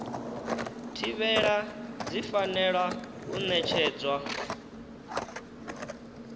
thivhela dzi fanela u ṋetshedzwa